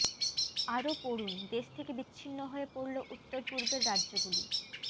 আরও পড়ুন দেশ থেকে বিচ্ছিন্ন হয়ে পড়ল উত্তর পূর্বের রাজ্যগুলি